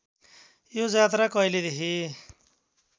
यो जात्रा कहिलेदेखि